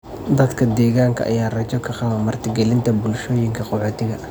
Dadka deegaanka ayaa rajo ka qaba marti gelinta bulshooyinka qaxootiga.